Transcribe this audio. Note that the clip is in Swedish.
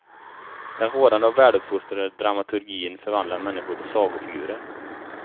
Den rådande och väluppfostrade dramaturgin förvandlar människor till sagofigurer.